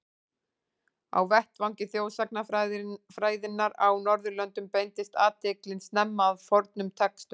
Á vettvangi þjóðsagnafræðinnar á Norðurlöndum beindist athyglin snemma að fornum textum.